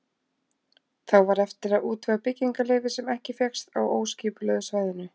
Þá var eftir að útvega byggingarleyfi, sem ekki fékkst á óskipulögðu svæðinu.